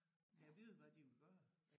Gad vide hvad de ville gøre